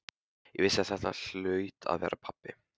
Ég vissi að þetta hlaut að vera pabbi.